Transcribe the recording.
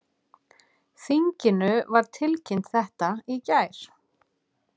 Þinginu var tilkynnt þetta í gær